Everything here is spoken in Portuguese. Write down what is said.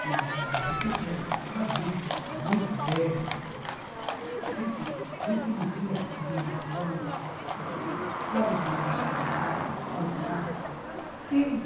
que que enriqueceram aqui no Brasil, com muito mérito, gente gente que não tinha discriminação ãh de raça, de cor, de nada.